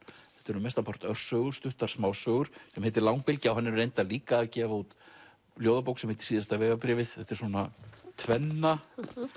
eru mestan part örsögur stuttar smásögur sem heitir langbylgja hann er reyndar líka að gefa út ljóðabók sem heitir síðasta vegabréfið þetta er svona tvenna